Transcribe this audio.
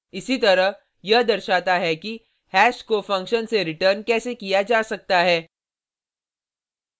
इसीतरह यह दर्शाता है कि हैश को फंक्शन से रिटर्न कैसे किया जा सकता है